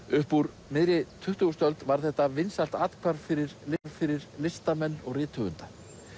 upp úr miðri tuttugustu öld varð þetta vinsælt athvarf fyrir fyrir listamenn og rithöfunda